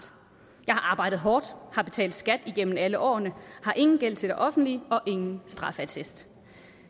jeg har arbejdet hårdt har betalt skat igennem alle årene har ingen gæld til det offentlige og ingen strafattest